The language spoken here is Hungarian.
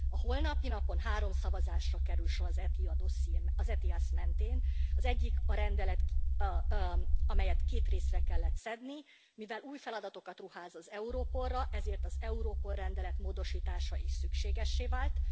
A holnapi napon három szavazásra kerül sor az ETIAS mentén az egyik a rendelet, amelyet két részre kellett szedni, mivel új feladatokat ruház az Europolra, ezért az Europol rendelet módosítása is szükségessé vált.